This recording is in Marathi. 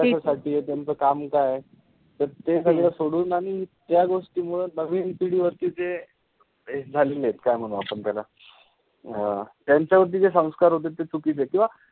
कशासाठीय त्यांचं काम काय. त ते सगळं सोडून आणि त्या गोष्टीमूळ नवीन पिढीवरती ते झालेलेत काय म्हणू आपण त्याला. अं त्याच्यावरती जे संस्कार होते ते चुकीचे होते किंवा,